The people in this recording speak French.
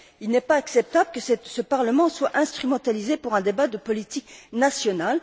Il n'est pas acceptable que ce Parlement soit instrumentalisé pour un débat de politique nationale.